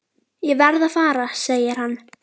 Ég verð að fara segir hann.